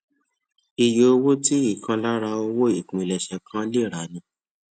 iye owó tí ìkan lára owó ìpilèṣè kan lè rà ni